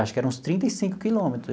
Acho que era uns trinta e cinco quilômetro.